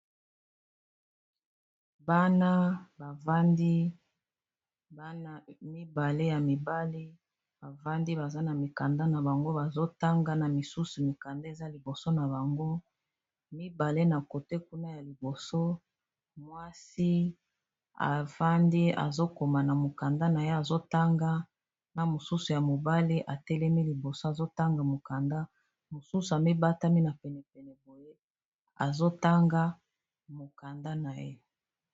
Bana bavandi baza na mikanda na bango bazotanga, na misusu mikanda eza liboso na bango mibale na côté kuna ya liboso mwasi afandi azokoma na mokanda na ye azotanga na mosusu ya mobale atelemi liboso azotanga mokanda mosusu amibatami na penepene boye azotanga mokanda na ye.